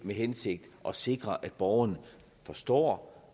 hensigt at sikre at borgerne forstår